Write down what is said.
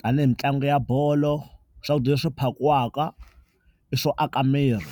tani hi mitlangu ya bolo, swakudya leswi phakiwaka i swo aka miri.